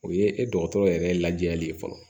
O ye e dɔgɔtɔrɔ yɛrɛ lajɛyali ye fɔlɔ